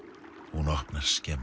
hún opnar skemmu